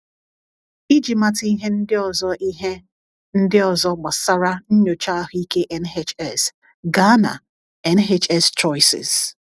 Iji mata ihe ndị ọzọ ihe ndị ọzọ gbasara Nnyocha Ahụike NHS, gaa na: NHS Choices